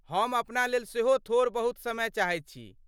हम अपना लेल सेहो थोड़ बहुत समय चाहैत छी।